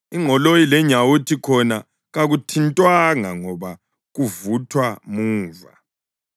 Ingqoloyi lenyawuthi khona kakuthintwanga ngoba kuvuthwa muva.)